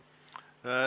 Aitäh!